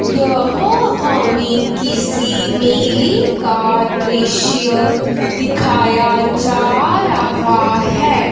यह हमें किसी मेले का दृश्य दिखाया जा रहा है।